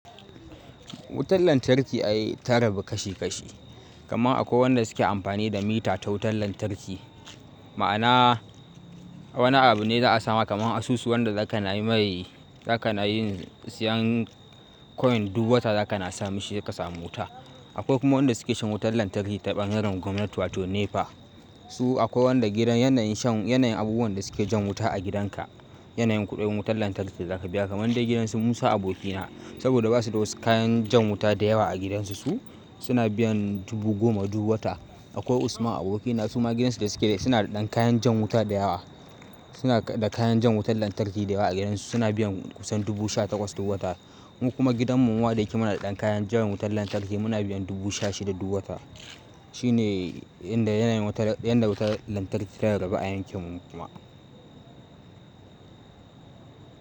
Wutar lantarki a yi tararrabu kashi kashi, kamar akwai wanda suke amfani da mita ta wutar lantarki. Ma'ana wani abu ne za a samu kamar asusu wanda za ka na yi maye, za ka na yin siyan coin duk wata za ka na sami shi ki ka samu wuta. Akwai kuma wanda suke shan wutar lantarki ta ɓangaren gwamnati wato NEPA. Su akwai wanda gidan yanayin shan, yanayin abubuwan da suke jan wuta a gidanka. Yanayin kuɗin wutar lantarki da za ka biya kamar dai gidan su Musa abokina saboda ba su da wasu kayan jan wuta da yawa a gidansu su, suna biyan dubu goma duk wata. Akwai Usman abokina su ma gidansu da suke dai suna da ɗan kayan jan wuta da yawa. Suna da kayan jan wutar lantarki da yawa a gidansu suna biyan kusan dubu sha takwas duk wata. Mu kuma gidan mu wada yake muna da ɗan kayan jan wutar lantarki muna biyan dubu sha shida duk wata. Shi ne inda yanayin wutar, inda wutar lantarki ta rarrabe ayyukan mu kuma.